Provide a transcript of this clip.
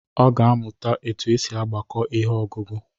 Ọ ga-amuta otu esi agbako ihe ọgụgụ.